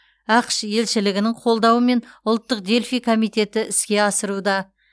ақш елшілігінің қолдауымен ұлттық дельфий комитеті іске асыруда